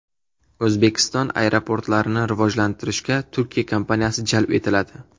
O‘zbekiston aeroportlarini rivojlantirishga Turkiya kompaniyasi jalb etiladi.